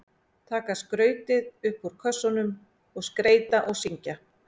Taka skrautið upp úr kössunum og skreyta og syngja.